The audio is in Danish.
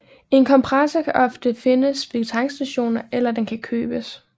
En kompressor kan ofte findes ved tankstationer eller den kan købes